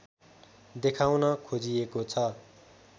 देखाउन खोजिएको छ